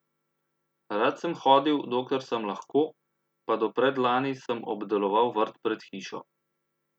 Rad sem hodil, dokler sem lahko, pa do predlani sem obdeloval vrt pred hišo.